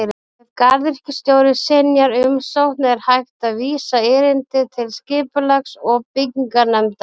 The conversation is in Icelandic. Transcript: Ef garðyrkjustjóri synjar umsókn er hægt að vísa erindi til Skipulags- og bygginganefndar.